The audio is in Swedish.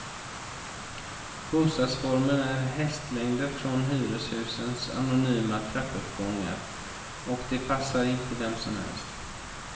Bostadsformen är hästlängder från hyreshusens anonyma trappuppgångar, och den passar inte vem som helst.